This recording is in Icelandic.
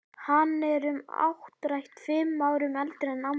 Hann er um áttrætt, fimm árum eldri en amma.